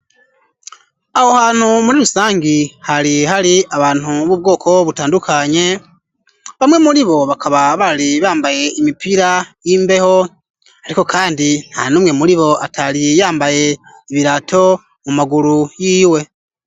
Aho hantu muri rusangi hari hari abantu b'ubwoko butandukanye, bamwe muri bo bakaba bari bambaye imipira y'imbeho, ariko kandi ntanumwe muri bo atari yambaye ibirato mu maguru y'iwe.